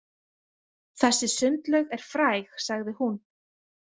Þessi sundlaug er fræg, sagði hún.